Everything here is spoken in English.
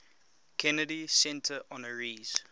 kennedy center honorees